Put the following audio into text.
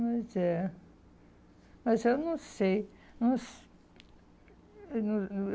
Mas é... Mas eu não sei. Não